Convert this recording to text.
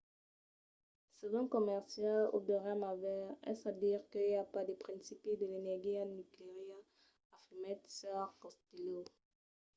"se ven comercial o deuriam aver. es a dire que i a pas de principi a l'energia nucleara afirmèt sr. costello